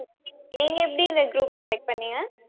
நீங்க எப்படி இந்த group select பண்ணீங்க